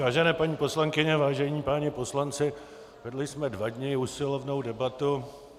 Vážené paní poslankyně, vážení páni poslanci, vedli jsme dva dny usilovnou debatu.